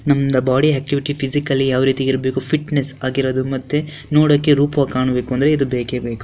ನಮ್ಮದು body activity physically ಯಾವ ರೀತಿ ಇರಬೇಕು ಫಿಟ್ನೆಸ್ ಆಗಿರೋದು ನೋಡೋಕೆ ರೂಪವಾಗಿ ಕಾಣಬೇಕು ಅಂದ್ರೆ ಇದು ಬೇಕೆ ಬೇಕು.